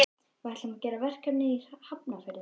Við ætlum að gera verkefni í Hafnarfirði.